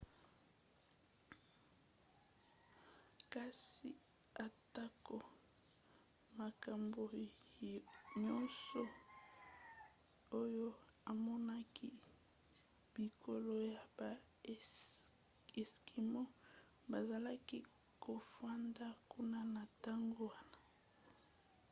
kasi atako makambo nyonso oyo amonaki bikolo ya baeskimo bazalaki kofanda kuna na ntango wana